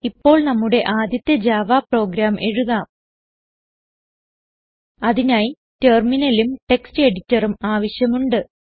ഇപ്പോൾ നമ്മുടെ ആദ്യത്തെ ജാവ പ്രോഗ്രാം എഴുതാം അതിനായി ടെർമിനലും ടെക്സ്റ്റ് എഡിറ്ററും ആവശ്യമുണ്ട്